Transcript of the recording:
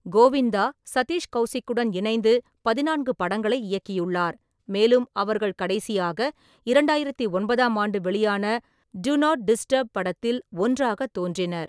கோவிந்தா, சதீஷ் கவுசிக்குடன் இணைந்து பதினான்கு படங்களை இயக்கியுள்ளார், மேலும் அவர்கள் கடைசியாக இரண்டாயிரத்தி ஒன்பதாம் ஆண்டு வெளியான 'டூ நாட் டிஸ்டப்' படத்தில் ஒன்றாகத் தோன்றினர்.